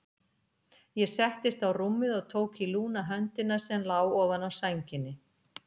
Ég settist á rúmið og tók í lúna höndina sem lá ofan á sænginni.